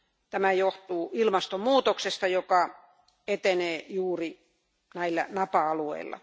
Tämä johtuu ilmastonmuutoksesta, joka etenee juuri näillä napa alueilla.